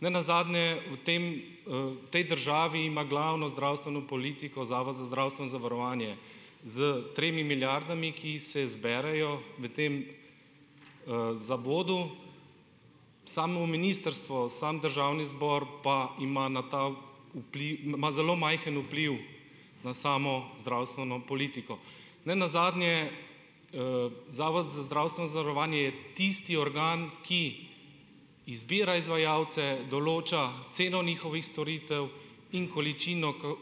Nenazadnje v tem, v tej državi ima glavno zdravstveno politiko Zavod za zdravstveno zavarovanje, z tremi milijardami, ki se zberejo v tem, zavodu. Samo ministrstvo, sam državni zbor, pa ima na ta ima zelo majhen vpliv na samo zdravstveno politiko. Nenazadnje, Zavod za zdravstveno zavarovanje je tisti organ, ki izbira izvajalce, določa ceno njihovih storitev in količino ko,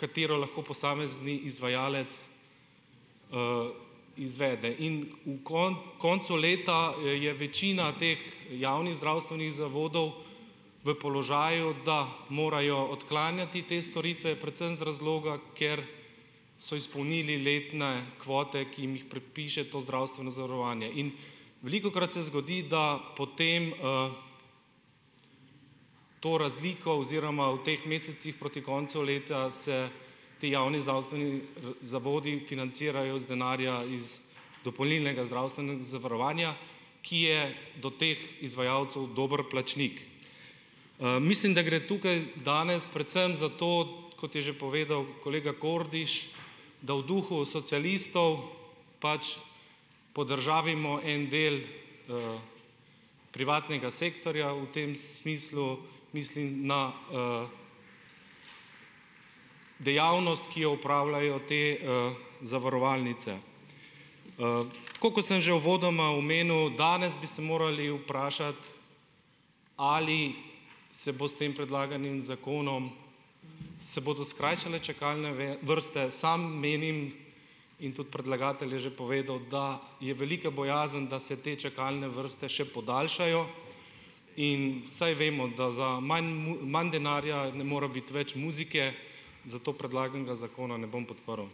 katero lahko posamezni izvajalec, izvede in v koncu leta je večina teh javnih zdravstvenih zavodov v položaju, da morajo odklanjati te storitve, predvsem z razloga, ker so izpolnili letne kvote, ki jim jih pripiše to zdravstveno zavarovanje in, velikokrat se zgodi, da potem, to razliko oziroma v teh mesecih proti koncu leta se ti javni zdravstveni, zavodi financirajo iz denarja iz dopolnilnega zavarovanja, ki je do teh izvajalcev dober plačnik. Mislim, da gre tukaj danes predvsem za to, kot je že povedal kolega Kordiš, da v duhu socialistov, pač, podržavimo en del privatnega sektorja, v tem smislu, mislim na, dejavnost, ki jo opravljajo te, zavarovalnice. Tako kot sem že uvodoma omenil, danes bi se morali vprašati, ali se bo s tem predlaganim zakonom, se bodo skrajšale čakalne vrste? Sam menim in tudi predlagatelj je že povedal, da je velika bojazen, da se te čakalne vrste še podaljšajo in, saj vemo, da za, imam manj denarja ne more biti več muzike, zato predlaganega zakona ne bom podprl.